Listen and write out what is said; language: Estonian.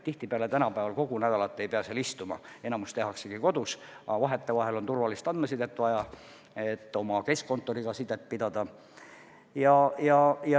Tihtipeale tänapäeval kogu nädalat ei pea seal istuma, enamik tööst tehaksegi kodus, aga vahetevahel on turvalist andmesidet vaja, et oma keskkontoriga sidet pidada.